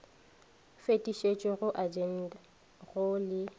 fetišetšwa go agente go le